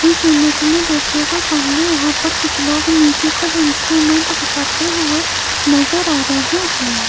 इस इमेज में देखिएगा सामने यहां पर कुछ लोग म्यूजिकल इंस्ट्रूमेंट बजाते हुए नजर आ रहे हैं।